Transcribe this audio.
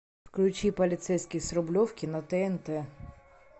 включи полицейский с рублевки на тнт